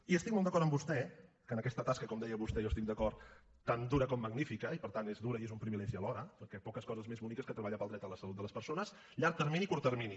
i estic molt d’acord amb vostè que en aquesta tasca com deia vostè i jo hi estic d’acord tan dura com magnífica i per tant és dura i és un privilegi alhora perquè poques coses més boniques que treballar per al dret a la salut de les persones llarg termini i curt termini